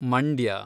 Mandya